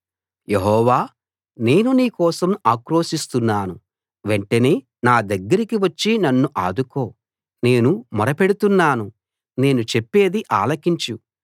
యెహోవా నేను నీ కోసం ఆక్రోశిస్తున్నాను వెంటనే నా దగ్గరికి వచ్చి నన్ను ఆదుకో నేను మొరపెడుతున్నాను నేను చెప్పేది ఆలకించు